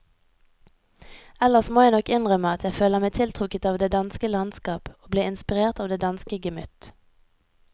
Ellers må jeg nok innrømme at jeg føler meg tiltrukket av det danske landskap og blir inspirert av det danske gemytt.